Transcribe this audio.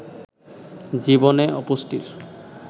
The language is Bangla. জীবনে অপুষ্টির